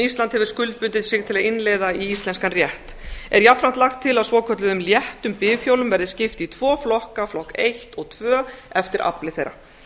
ísland hefur skuldbundið sig til að innleiða í íslenskan rétt er jafnframt lagt til að svokölluðum léttum bifhjólum verði skipt upp í tvo flokka flokk eitt og tvö eftir afli þeirra